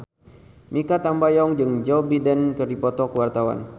Mikha Tambayong jeung Joe Biden keur dipoto ku wartawan